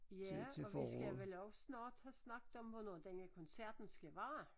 Ja og vi skal vel også snart have snakket om hvornår denne koncerten skal være